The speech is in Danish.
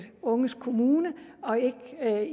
unges kommune og ikke